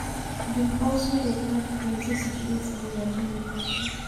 Dem also dey add plenty security layer join de password.